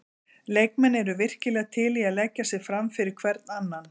Leikmenn eru virkilega til í að leggja sig fram fyrir hvern annan.